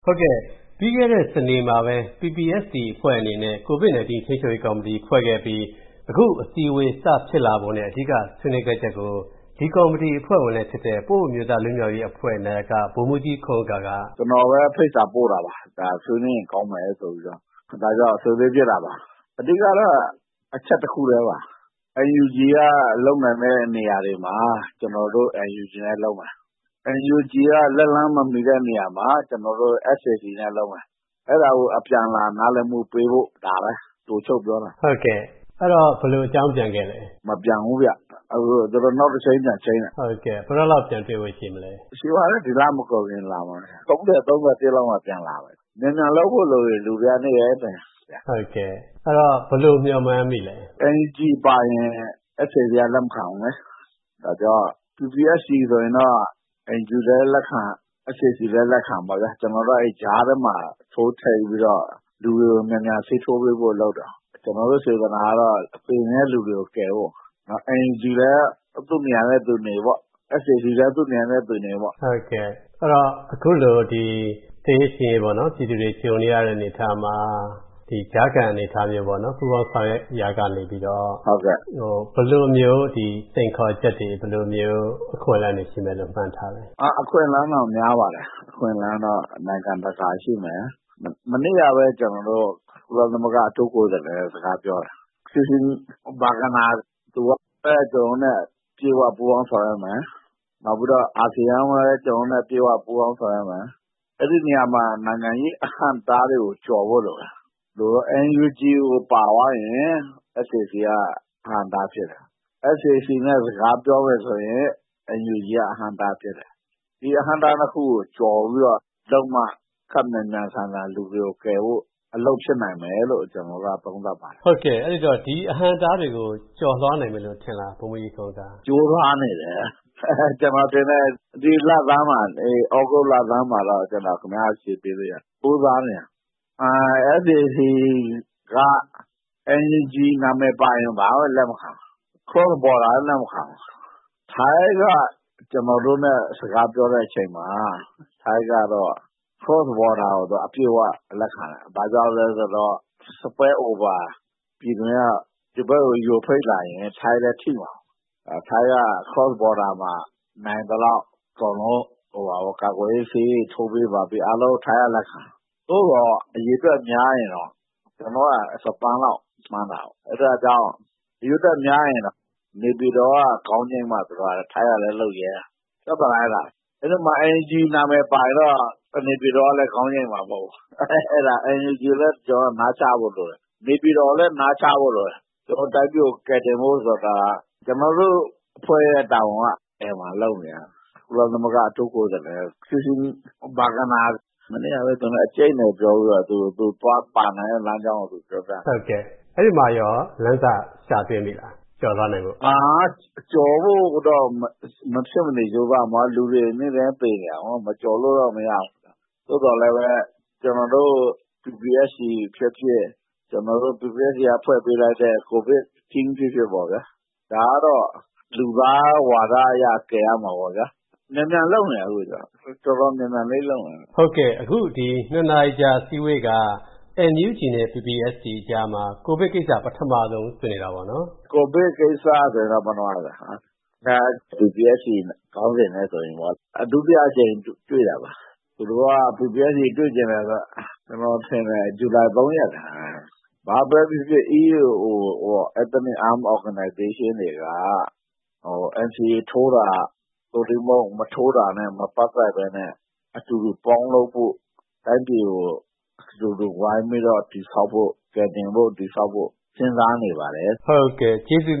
ဟုတ်ကဲ့။ ပြီးခဲ့တဲ့ စနေမှာပဲ PPST အဖွဲ့ အနေနဲ့ ကိုဗစ်နိုင်တင်း ထိန်းချုပ်ရေးကော်မီတီဖွဲ့ခဲ့ပြီး အခုအစည်းအဝေးဖြစ်လာပုံနဲ့ အဓိကဆွေးနွေးခဲ့ချက်ကို ဒီကော်မီတီအဖွဲ့ဝင်နဲ့ ပအို့အမျိုးသား လွတ်မြောက်ရေးအဖွဲ့ နာယက ဗိုလ်မှူးကြီး ခွန်ဥက္ကာ က ကျနော်ပဲ ဖိတ်စာပို့တာပါ။ အဓိကဆွေးနွေးဖြစ်ဖို့လိုပါတယ်။ အဓိကကတော့ အချက်တခုတည်းပါ။NUG လုပ်နိုင်တဲ့နေရာမှာ ကျနော်တို့ NUG နဲ့ လုပ်မယ်။ လက်လှမ်းမမီတဲ့နေရာမှာ ကျနော်တို့. SAC နဲ့လုပ်မယ်။ အဲဒါကို အပြန်အလှန်နားလည်မှုပေးဖို့ ဒါပါပဲ။ အဲဒီတော့ ဘယ်လိုအကြောင်းပြန်ခဲ့လဲ။ မပြန်ဘူးဗျ။ သူတို့နောက်တချိန်းပြန်ချိန်းတယ်။ ဘယ်တော့လောက် တွေ့ဖို့ရှိမလဲ။ ဒီလမကုန်ခင်လာမယ်။ ၃ဝ နဲ့ ၃၁ လောက်မှာ ပြန်လာမယ်။ မြန်မြန်လုပ်ဖို့လိုမယ်။ လူတွေက နေတိုင်းသေနေကြတာ။ ဘယ်လိုမျှော်မှန်းမိလဲ။ NUG ပါရင် SAC က လက်မခံဘူးလေ။ ဒါကြောင့် PPST ဆိုရင်တော့ ၂ခုစလုံးက လက်ခံပေါ့ဗျာ။ ကျနော်တို့အဖွဲ့က ကြားထဲကနေပြီး လူတွေကို ဆေးထိုးပေးဖို့လုပ်တယ်။ ကျနော်တို့စေတနာကတော့ သေနေတဲ့လူတွေကို ကယ်ဖို့။ NUG လည်း သူနေရာသူနေပေါ့။ SAC လည်း သူနေရာသူနေပေါ့။ အခုလို လူတွေသေရေးရှင်ရေးကြုံနေကြရတဲ့အနေအထားမှာ ဒီကြားခံအနေအထားမျိုးပေါ့။ ပူးပေါင်းဆောင်ရွက်ရာကနေ ဘယ်လိုမျိုး စိန်ခေါ်ချက်တွေ၊ ပူးပေါင်းဆောင်ရွက်မှုတွေမှန်းထားသလဲ။ အခွင့်အလန်းတော့ များပါတယ်။ အခွင့်အလန်းတော့ နိုင်ငံတကာရှိတယ်။ မနေ့ကပဲ ကျနော်တို့ ကုလသမဂ္ဂအထူးကိုယ်စားလှယ်နဲ့ စကားပြောတယ်။ Christine Schraner Burgener က ကျနော်တို့နဲ့ အပြည့်အဝပူးပေါင်းမယ်။ နောက်ပြီးတော့ အာဆီယံလည်း ကျနော်တို့နဲ့ အပြည့်အဝပူးပေါင်းဆောင်ရွက်မယ်။ အဲဒီနေရာမှာ နိုင်ငံရေးအဟန့်အတားတွေကို ကျော်ဖို့လိုမယ်။ NUG ကိုပါသွားရင် SAC က အဟန့်အတားဖြစ်တယ်။ SAC နဲ့ စကားပြောရင် NUG က အဟန့်အတားဖြစ်တယ်။ ဒီအဟန့်အတား ၂ခုကို ကျော်ပြီးတော့ လုပ်မှ လူတွေကို မြန်မြန်ဆန်ဆန်ကယ်ဖို့ အလုပ်ဖြစ်နိုင်မယ်လို့ ကျနော်တို့က ယူဆပါတယ်။ ဟုတ်ကဲ့ ဒီအဟန့်အတားတွေကို ကျော်လွှားနိုင်မယ်ထင်လား။ ကြိုးစားနေပါတယ်။ ဒီသြဂုတ်လဆန်းလောက်မှာ အဖြေပေးလို့ရတယ်။ SAC က NUG နာမည်ပါရင်ဘာမှလက်မခံဘူး။ Cross Border လည်း လက်မခံဘူး။ ထိုင်းက ကျနော်တို့နဲ့ စကားပြောတဲ့အခါမှာ ထိုင်းကတော့ Cross Border ကို အပြည့်အဝလက်ခံတယ်။ ဘာကြောင့်လဲဆိုတော့ ဒီဖက်ကို ယိုဖိတ်လာရင် ထိုင်းလည်းထိမှာကို။ ထိုင်းက Cross Border မှာနိုင်သလောက် ကာကွယ်ဆေးထိုးပေးဖို့ အားလုံးလက်ခံတယ်။ သို့သော် အရေအတွက်များရင်တော့ ကျနော်တို့က တသန်းလောက်မှန်းတာကို ။ အရေအတွက်များရင်တော့ နေပြည်တော် က ခေါင်းငြိမ်းမှ ထိုင်းကလည်း လက်ခံမှာကို ။ အဲဒီမှာ NUG ပါရင်တော့ နေပြည်တော်ကလည်း လက်ခံမှာမဟုတ်ဘူး။ ထိုင်းကလည်း လက်ခံမှာမဟုတ်ဘူး။ NUG ကိုလည်း နားချဖို့လိုတယ်။ နေပြည်တော်ကိုလည်း နားချဖို့လိုတယ်။ တိုင်းပြည်ကို ကယ်တင်ဖို့ဆိုတာက ကျနော်တို့တိုင်းပြည်ကယ်တင်ဖို့က ကုလအထူးကိုယ်စားလှယ်နဲ့ အကြိတ်နယ်ပြောပြီး သူပါဝင်မယ်အကြောင်းပြောပြတယ်။ အဲဒီမှာကော လမ်းစရမိလား။ ကျော်လွှားနိုင်ဖို့။ ကျော်လွှားဖို့မဖြစ်မနေလုပ်ရမှာပါ။ လူတွေလည်း နေတိုင်းသေနေတာကို ။ ကျော်လွှားရမှာပေါ့။ သို့သော်လည်းပဲ ကျနော်တို့ PPST ဖြစ်ဖြစ်၊ ကျနော်တို့ဖွဲ့ထားတဲ့ ကိုဗစ်အဖွဲ့ဖြစ်ဖြစ်ပေါ့ဗျာ။ ဒါကတော့ လူသားဝါဒအရ ကယ်ရမှာပေါ့ဗျာ။ မြန်မြန်လုပ်နေတယ်။ NUG နဲ့ PPST အကြားမှာ ကိုဗစ်ကိစ္စပထမဆုံးဆွေးနွေးတာပေါ့နော်။ ဒုတိယအကြိမ်တွေ့တာပါ။ ဇူလိုင် ၃ ရက်က PPST တွေ့ချင်တယ်ဆိုတာ။ ဘာပဲဖြစ်ဖြစ် EAO Ethnics Arm Org တွေက NCA ထိုးတာ မထိုးတာနဲ့ မပတ်သက်ပဲနဲ့ အတူတူပေါင်းလုပ်ဖို့ တိုင်းပြည်ကို အတူတူဝိုင်းတည်ဆောက်ဖို့ စဉ်းစားနေပါတယ်။ ဟုတ်ကဲ့။ ကျေးဇူး